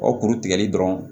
O kuru tigɛli dɔrɔn